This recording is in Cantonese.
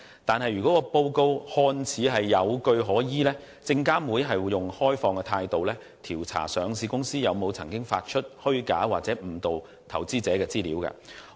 不過，如果報告看似有據可依，證監會便會以開放的態度調查上市公司是否曾經發出虛假或誤導投資者的資料。